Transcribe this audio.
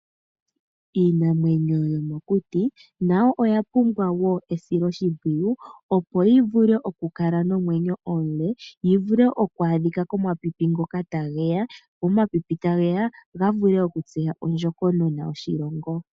Iinamwenyo yomokuti nayo oyapumbwa wo esilo shimpwiyu. Opo yivule okula nomwenyo omule yivule okwaadhikwa komapipi ngoka tageya, wo omapipi tageya gavule okutseya ondjokonona yoshilongo.